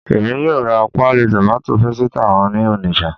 Èmi yóò ra páálí tòmátò pésìtì kan ní Onitsha